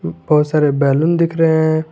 बहुत सारे बैलून दिख रहे हैं।